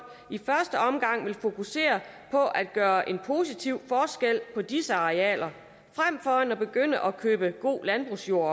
i første omgang vil fokusere på at gøre en positiv forskel på disse arealer frem for at begynde at købe god landbrugsjord